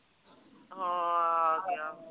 ਹਾਂ ਆ ਗਿਆ।